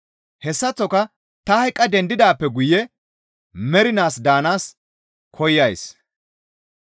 Hessaththoka ta hayqqa dendidaappe guye mernaas daanaas koyays.